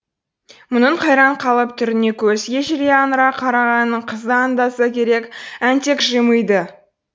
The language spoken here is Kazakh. мұның қайран қалып түріне көзі ежірейе аңыра қарағанын қыз да аңдаса керек әнтек жымиды